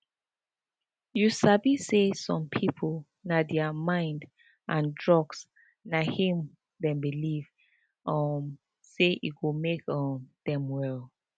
you sabi say some people na thier mind and drugs na him them believe um say go make um them well